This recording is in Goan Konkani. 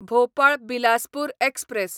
भोपाळ बिलासपूर एक्सप्रॅस